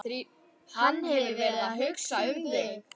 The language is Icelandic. Hann hefur verið að hugsa um þig.